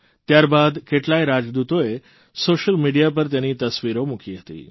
ત્યાર બાદ કેટલાય રાજદૂતોએ સોશિયલ મિડિયા પર તેની તસવીરો મૂકી હતી